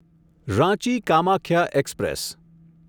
Ranchi Kamakhya express